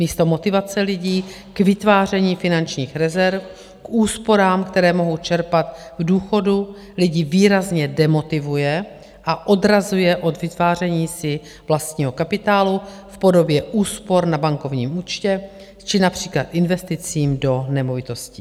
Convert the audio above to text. Místo motivace lidí k vytváření finančních rezerv, k úsporám, které mohou čerpat k důchodu, lidi výrazně demotivuje a odrazuje od vytváření si vlastního kapitálu v podobě úspor na bankovním účtě či například investicí do nemovitostí.